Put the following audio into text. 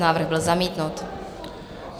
Návrh byl zamítnut.